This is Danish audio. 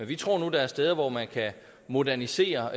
vi tror nu der er steder hvor man kan modernisere